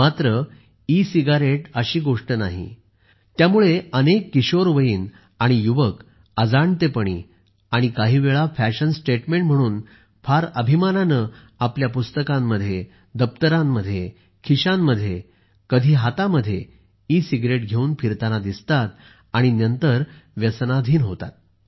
मात्र e cigarette अशी गोष्ट नाही त्यामुळे अनेक किशोरवयीन आणि युवक अजाणतेपणी आणि काही वेळा फॅशन स्टेटमेंट म्हणून फार अभिमानाने आपल्या पुस्तकांमध्ये आपल्या दप्तरांमध्ये आपल्या खिशांमध्ये तर कधी हातामध्ये ई सिगरेट घेऊन फिरताना दिसतात आणि नंतर व्यसनाधीन होतात